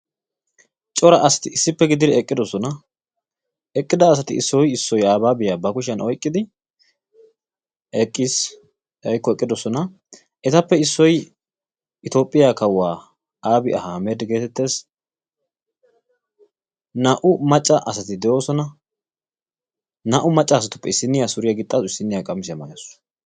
Cora asati issippe gididi eqqidosona. eqqida asati ba kushyaan oyqqidi eqqis woykko eqqidosona. etappe issoy itoophphiyaa kawuwaa abi ahimed geetettees. naa"u maacca asati de'oosona. naa"u maacca asatuppe issiniyaa suriyaa gixxasu, issiniyaa qamisiyaa maayasu.